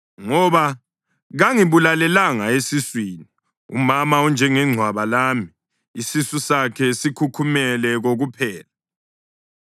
Ngoba kangibulalelanga esiswini, umama enjengengcwaba lami, isisu sakhe sikhukhumele kokuphela.